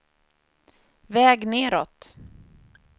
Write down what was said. väg nedåt